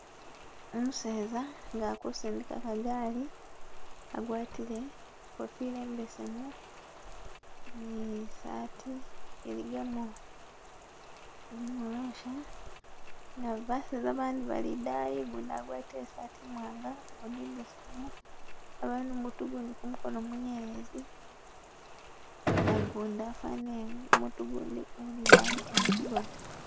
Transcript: Umuseza nga akusindika kagali, agwatile ikofilo imbesemu ni'sati iligamo irimorosha, na babazesa bandi bali idayi ugundi agwatile i'sati imwanga ogundi imbesemu, nga bali nu'mutu ugundi kumukono munyelezi, na gundi afanile mutu gundi uli idayi nga mukigona